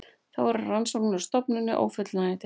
Þá eru rannsóknir á stofninum ófullnægjandi